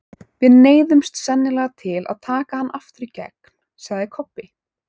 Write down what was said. Við neyðumst sennilega til að taka hann aftur í gegn, sagði Kobbi.